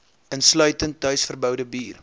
insluitend tuisverboude bier